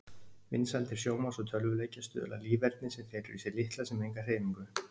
Vinsældir sjónvarps og tölvuleikja stuðla að líferni sem felur í sér litla sem enga hreyfingu.